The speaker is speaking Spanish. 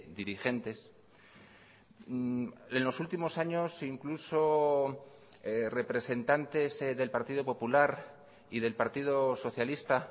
dirigentes en los últimos años incluso representantes del partido popular y del partido socialista